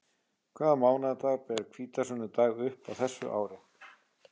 Hvaða mánaðardag ber hvítasunnudag upp á þessu ári?